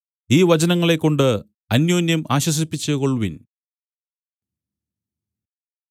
ഈ വചനങ്ങളെക്കൊണ്ടു അന്യോന്യം ആശ്വസിപ്പിച്ചുകൊൾവിൻ